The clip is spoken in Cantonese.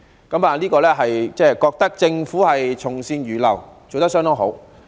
我覺得政府從善如流，做得相當好。